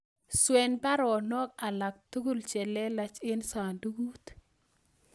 Swen baronok alaktugul chelelach en sandugut